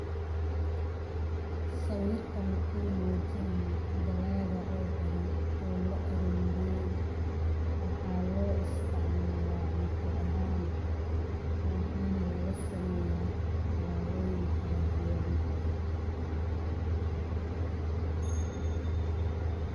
Sawirkan muxu muujinaya dalaaga oo badan oo la aruri. Waxaa loo isticmaalaa cunto ahaan waxaana laga sameya calaamuhu kala duwan.